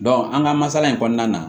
an ka masala in kɔnɔna na